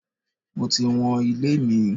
Mo ti wọn ilé mi.